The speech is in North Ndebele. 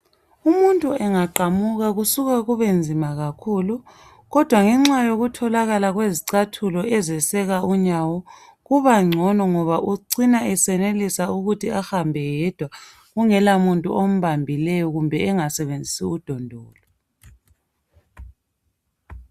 Umuntu engaqamuka kusuka kubenzima kakhulu kodwa ngenxa yokutholakala kwezicathulo ezeseka unyawo, kubangcono ngoba ucina eseyenelisa ukuthi ahambe yedwa kungela muntu ombambileyo kumbe engasebenzisi udondolo.